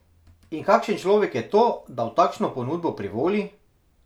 In kakšen človek je to, da v takšno ponudbo privoli?